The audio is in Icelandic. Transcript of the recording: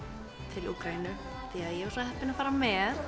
til Úkraínu því ég var svo heppin að fara með